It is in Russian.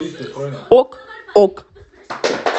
ок ок